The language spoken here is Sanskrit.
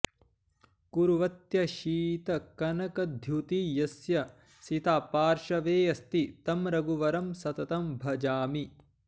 कुर्वत्यशीतकनकद्युति यस्य सीता पार्श्वेऽस्ति तं रघुवरं सततं भजामि